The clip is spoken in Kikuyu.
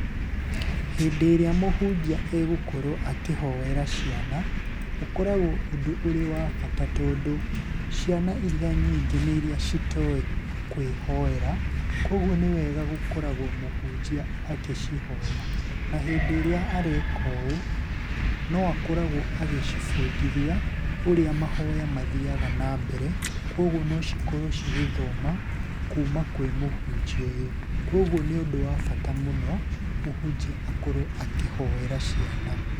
Hĩndĩ ĩrĩa mũhunjia egũkorwo akĩhoera ciana, ũkoragwo ũndũ ũrĩ wa bata tondũ, ciana iria nyingĩ nĩ iria citoĩ kwĩhoera kuũguo nĩ wega gũkoragwo mũhunjia agĩcihoera. Na hĩndĩ ĩrĩa areka ũũ no akoragwo agĩcibundithia ũrĩa mahoya mathiaga na mbere, kuũguo no cikorwo cigĩthoma kuuma kwĩ mũhunjia ũyũ. Kuũguo nĩ ũndũ wa bata mũno mũhunjia akorwo akĩhoera ciana.